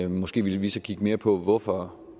måske ville vi så kigge mere på hvorfor